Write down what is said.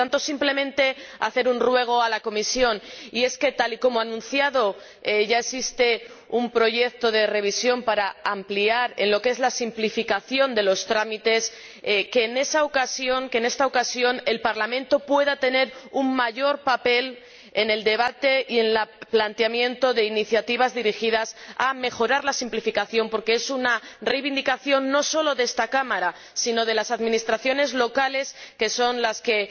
Por lo tanto, simplemente, deseo hacer un ruego a la Comisión puesto que, tal como ha anunciado, ya existe un proyecto de revisión para ampliar en lo que es la simplificación de los trámites, espero que, en esta ocasión, el Parlamento pueda tener un mayor papel en el debate y en el planteamiento de iniciativas dirigidas a mejorar la simplificación, porque es una reivindicación no solo de esta Cámara, sino también de las administraciones locales, que son las que